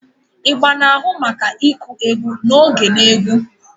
Igba na-ahụ maka ịkụ egwu na oge na egwu.